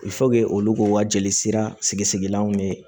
olu k'u ka jeli sira sigilanw ne